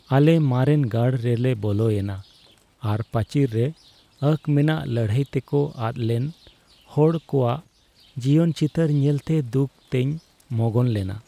ᱟᱞᱮ ᱢᱟᱨᱮᱱ ᱜᱟᱲ ᱨᱮᱞᱮ ᱵᱚᱞᱚᱭᱮᱱᱟ ᱟᱨ ᱯᱟᱹᱪᱤᱨ ᱨᱮ ᱟᱸᱠ ᱢᱮᱱᱟᱜ ᱞᱟᱹᱲᱦᱟᱹᱭ ᱛᱮᱠᱚ ᱟᱫ ᱞᱮᱱ ᱦᱚᱲ ᱠᱚᱣᱟᱜ ᱡᱤᱭᱚᱱ ᱪᱤᱛᱟᱹᱨ ᱧᱮᱞᱛᱮ ᱫᱩᱠ ᱛᱮᱧ ᱢᱚᱜᱚᱱ ᱞᱮᱱᱟ ᱾